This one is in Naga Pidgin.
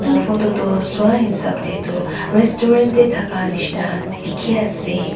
etu dukan tu sua hisab te tu restaurant te thaka nisna dekhi ase.